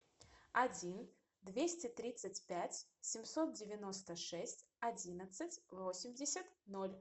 один двести тридцать пять семьсот девяносто шесть одиннадцать восемьдесят ноль